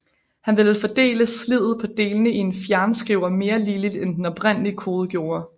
Han ville fordele sliddet på delene i en fjernskriver mere ligeligt end den oprindelige kode gjorde